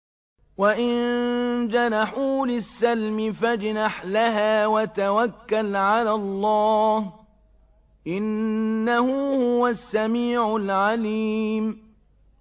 ۞ وَإِن جَنَحُوا لِلسَّلْمِ فَاجْنَحْ لَهَا وَتَوَكَّلْ عَلَى اللَّهِ ۚ إِنَّهُ هُوَ السَّمِيعُ الْعَلِيمُ